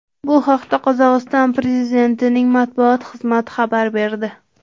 Bu haqda Qozog‘iston prezidentining matbuot xizmati xabar berdi .